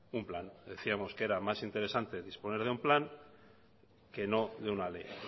un plan decíamos que era más interesante disponer de un plan que no de una ley